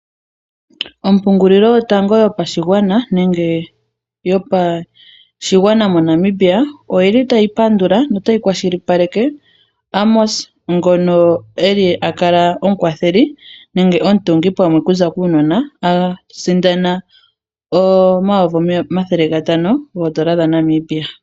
Ompungulilo yotango yopashigwana moNamibia, oyili tayi pandula notayi kwashilipaleke Amos ngono eli a kala omukwatheli nenge omutungi pamwe okuza kuunona, a sindana omayovi omathele gatano goondola dha Namibia.